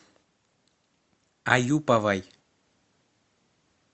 аюповой